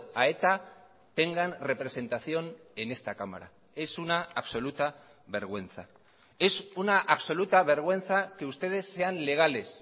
a eta tengan representación en esta cámara es una absoluta vergüenza es una absoluta vergüenza que ustedes sean legales